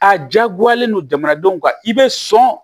A jagoyalen don jamanadenw ka i bɛ sɔn